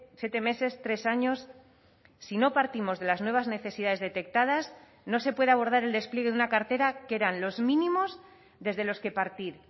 siete meses tres años si no partimos de las nuevas necesidades detectadas no se puede abordar el despliegue de una cartera que eran los mínimos desde los que partir